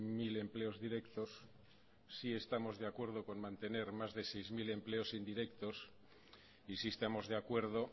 mil empleos directos sí estamos de acuerdo con mantener más de seis mil empleos indirectos y sí estamos de acuerdo